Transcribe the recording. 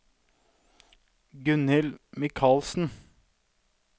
Gunhild Mikalsen